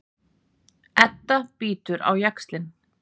Edda bítur á jaxlinn.